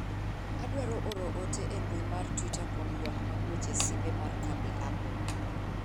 adwaro oro ote e mbui mar twita kuom ywak mag weche simbe mar kambi apple